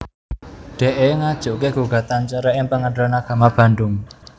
Dee ngajuké gugatan cerai ing Pengadilan Agama Bandung